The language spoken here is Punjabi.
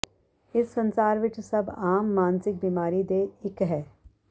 ਇਸ ਸੰਸਾਰ ਵਿੱਚ ਸਭ ਆਮ ਮਾਨਸਿਕ ਬੀਮਾਰੀ ਦੇ ਇੱਕ ਹੈ